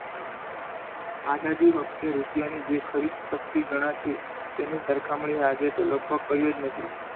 આઝાદી વખતે રૂપિયાની જે ખરીદશક્તિ ગણાતી તેની સરખામણી આજે લગભગ કઈ જ નથી.